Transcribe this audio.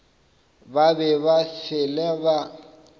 ba be ba fele ba